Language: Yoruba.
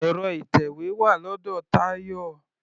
Ẹ̀rọ ìtẹ̀wé wà lọ́dọ̀ Tayọ.